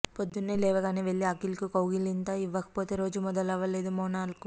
పొద్దున్నే లేవగానే వెళ్లి అఖిల్కు కౌగిలింత ఇవ్వకపోతే రోజు మొదలవ్వదు మోనాల్కు